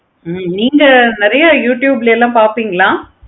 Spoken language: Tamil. ஹம் நீங்க நெறைய youtube ளலாம் பார்ப்பீங்களா?